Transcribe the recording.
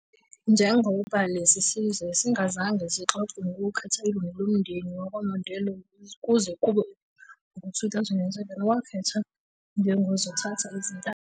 Njengoba lesi sizwe singazange sixoxe ngokukhetha ilungu lomndeni wakwaMandela kuze kube ngu-2007, wakhethwa njengozothatha izintambo.